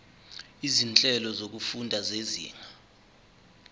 izinhlelo zokufunda zezinga